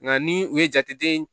Nka ni u ye jate den